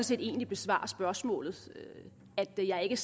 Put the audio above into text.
set egentlig besvarer spørgsmålet jeg ser ikke